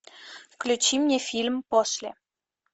включи мне фильм после